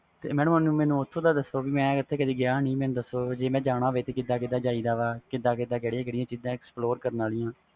ਮੈਨੂੰ ਓਥੋਂ ਦਾ ਦਸੋ ਮੈਂ ਓਥੇ ਕਦੇ ਗਿਆ ਨਹੀਂ ਮੈਂ ਜਾਣਾ ਹੋਵੇ ਕਿਵੇਂ ਜਾਈ ਦਾ ਕਿਦਾਂ ਕਿਦਾਂ ਕਿਹੜੀਆਂ ਕਿਹੜੀਆਂ ਚੀਜ਼ਾਂ explore ਕਰਿ ਦੀਆ